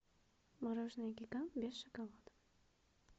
мороженое гигант без шоколада